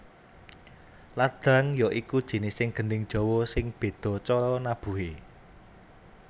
Ladrang ya iku jinising gendhing Jawa sing bedha cara nabuhe